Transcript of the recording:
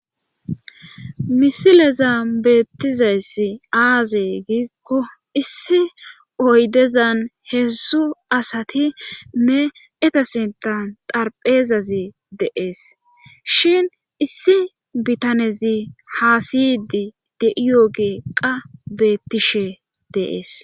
Misileza beettizayssi aaze giikko issi oydezan heedsu asati meeetasintan darpheezazi deees shin issi bitanezi haasiydi de'iyo geeqqa beettishe deees.